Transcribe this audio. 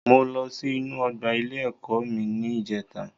Mo lọ sí inú ọgbà ilé ẹ̀kọ́ mi ní ìjèta